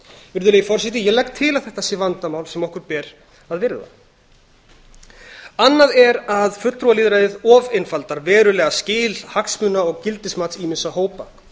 virðulegi forseti ég legg til að þetta sé vandamál sem okkur ber að virða annað er að fulltrúalýðræðið ofureinfaldar verulega skil hagsmuna og gildismats ýmissa hópa